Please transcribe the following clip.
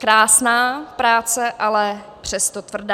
Krásná práce, ale přesto tvrdá.